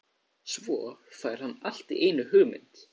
Svo fær hann allt í einu hugmynd.